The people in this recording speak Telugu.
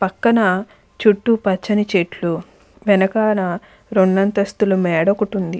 పక్కన చుట్టూ చెట్లు. వెనకాతల రెండు అంతస్తుల మేడ ఒకటి ఉంది.